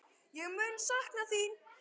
Ég mun sakna þín!